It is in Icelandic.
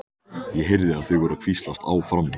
Ég heyrði að þau voru að hvíslast á frammi.